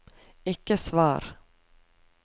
ikke svar